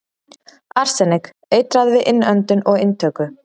Arsenik- Eitrað við innöndun og inntöku.